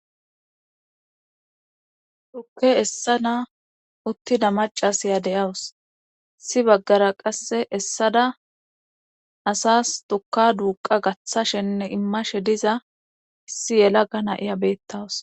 Dukke essa na uttida macasiya deyawus issi baggara qasse essada asas tuka duuqa gaththashenne immashe diza issi yela ga na iya beettawus.